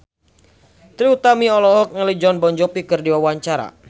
Trie Utami olohok ningali Jon Bon Jovi keur diwawancara